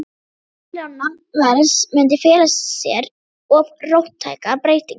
hlutir án nafnverðs, mundi fela í sér of róttæka breytingu.